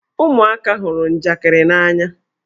Ụmụaka hụrụ njakịrị n'anya.